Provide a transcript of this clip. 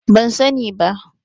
ban sani ba